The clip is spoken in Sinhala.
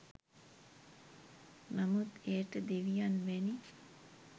නමුත් එයට දෙවියන් වැනි